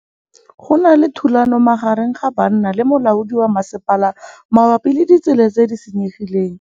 Go na le thulanô magareng ga banna le molaodi wa masepala mabapi le ditsela tse di senyegileng.